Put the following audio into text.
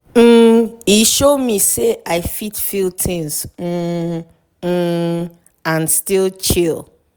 um e show me say i fit feel things um um and still chill.